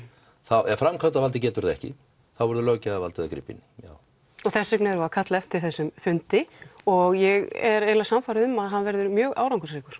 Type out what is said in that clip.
ef framkvæmdavaldið getur það ekki þá verður löggjafavaldið að grípa inní já og þess vegna erum við að kalla eftir þessum fundi og ég er eiginlega sannfærð um að hann verði mjög árangursríkur